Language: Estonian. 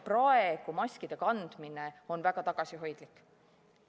Maskide kandmine on praegu väga tagasihoidlik.